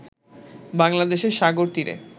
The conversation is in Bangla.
বাংলাদেশে সাগরতীরে